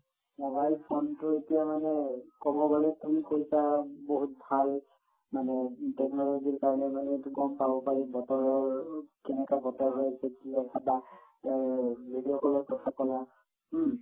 mobile phone টো এতিয়া মানে কব গলে তুমি কৈছা বহুত ভাল মানে technology ৰ কাৰণে মানে এইটো গম পাব পাৰি বতৰৰ কেনেকুৱা বতৰ হৈ আছে কি হৈ আছে বা এই video call ত কথা কলা হুম